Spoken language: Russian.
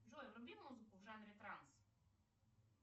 джой вруби музыку в жанре транс